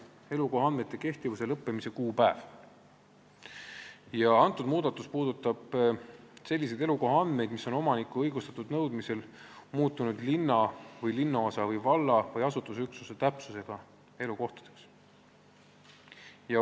See muudatus puudutab seletuskirja sõnastuse järgi selliseid elukohaandmeid, mis on omaniku õigustatud nõudmisel muutunud linna ja linnaosa või valla või asustusüksuse täpsusega elukohtadeks.